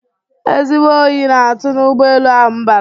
Ezigbo Oyi na atu na ụgbọ elu ahu m bara